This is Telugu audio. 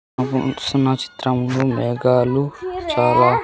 ఉ హు చూస్తున్న చిత్రంలో మేఘాలు చాలా--